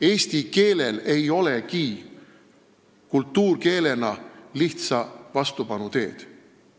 Eesti keelel ei olegi kultuurkeelena lihtsa vastupanu teed.